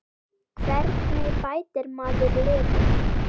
Hvernig bætir maður liðið?